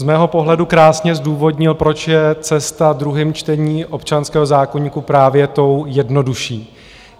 Z mého pohledu krásně zdůvodnil, proč je cesta druhým čtením občanského zákoníku právě tou jednodušší.